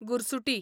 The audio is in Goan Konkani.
गुरसुटी